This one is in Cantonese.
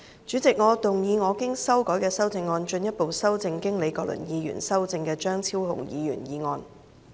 主席，我動議我經修改的修正案，進一步修正經李國麟議員修正的張超雄議員議案。